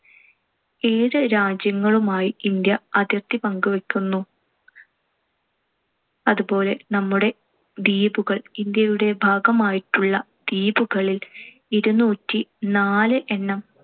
ഏഴു രാജ്യങ്ങളുമായി ഇന്ത്യ അതിർത്തി പങ്കുവക്കുന്നു. അതുപോലെ നമ്മുടെ ദ്വീപുകൾ. ഇന്ത്യയുടെ ഭാഗമായിട്ടുള്ള ദ്വീപുകളിൽ ഇരുനൂറ്റിനാല് എണ്ണം